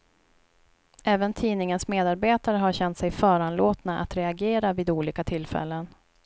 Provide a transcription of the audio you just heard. Även tidningens medarbetare har känt sig föranlåtna att reagera vid olika tillfällen.